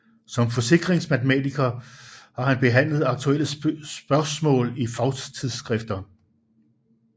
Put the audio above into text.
Som Forsikringsmatematiker har han behandlet aktuelle Spørgsmaal i Fagtidsskrifter